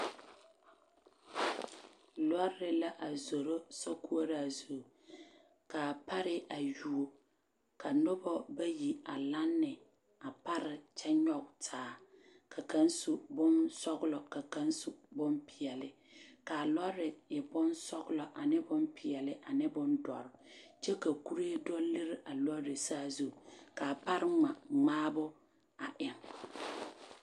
Lɔre la a zoro sokoɔraa zu ka a pare a yuo ka noba bayi a lane a pare kyɛ nyɔɡe taa ka kaŋ su bonsɔɔlɔ ka kaŋ su bompeɛle ka a lɔre e bonsɔɡelɔ ane bompeɛle ane bondɔre kyɛ ka kuree do liri a lɔre saazu ka a pare ŋma ŋmaabo a eŋ.